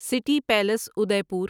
city palace ادے پور